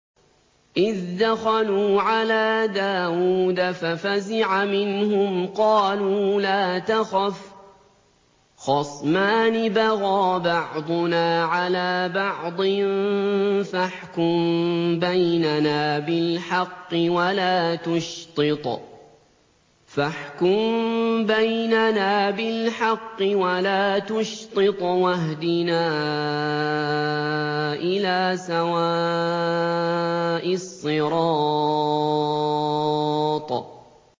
إِذْ دَخَلُوا عَلَىٰ دَاوُودَ فَفَزِعَ مِنْهُمْ ۖ قَالُوا لَا تَخَفْ ۖ خَصْمَانِ بَغَىٰ بَعْضُنَا عَلَىٰ بَعْضٍ فَاحْكُم بَيْنَنَا بِالْحَقِّ وَلَا تُشْطِطْ وَاهْدِنَا إِلَىٰ سَوَاءِ الصِّرَاطِ